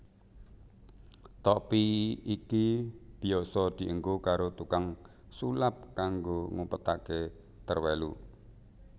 Topi iki biyasa dienggo karo tukang sulap kanggo ngumpetaké terwelu